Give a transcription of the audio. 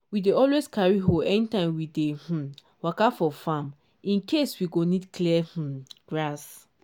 we dey always carry hoe anytime we dey um waka for farm in case we go need clear um grass.